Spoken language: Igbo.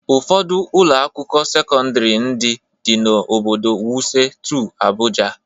Ụfọdụ Ụlọ akwụkwọ sekọndrị ndị dị n'obodo Wuse 2, Abụja